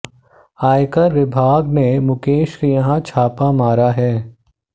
आयकर विभाग ने मुकेश के यहां छापा मारा है